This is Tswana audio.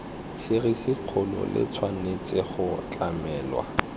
serisikgolo le tshwanetse go tlamelwa